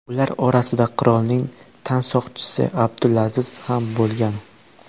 Ular orasida qirolning tansoqchisi Abdulaziz ham bo‘lgan.